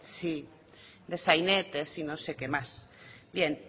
sí de sainetes y no sé qué más bien